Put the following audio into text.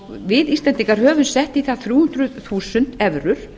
við íslendingar höfum sett í það þrjú hundruð þúsund evrur